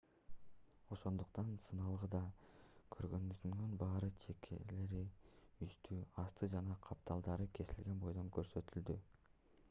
ошондуктан сыналгыда көргөндөрүңүздүн баары чекелери үстү асты жана капталдары кесилген бойдон көрсөтүлдү